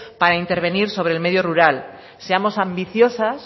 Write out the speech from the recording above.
para intervenir sobre el medio rural seamos ambiciosas